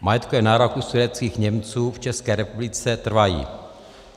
Majetkové nároky sudetských Němců v České republice trvají.